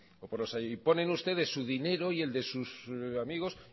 y ponen ustedes su dinero y el de sus amigos